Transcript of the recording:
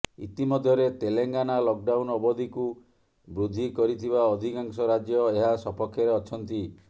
ଇତିମଧ୍ୟରେ ତେଲଙ୍ଗାନା ଲକଡାଉନ୍ ଅବଧିକୁ ବୃଦ୍ଧି କରିଥିବା ଅଧିକାଂଶ ରାଜ୍ୟ ଏହା ସପକ୍ଷରେ ଅଛନ୍ତି